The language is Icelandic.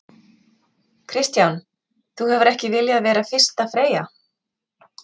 Kristján: Þú hefur ekki viljað vera fyrsta freyja?